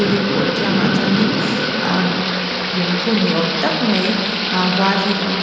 building pawl kiangah chuanin uhm lungphun ni awm tak mai ah var hi alo awm a.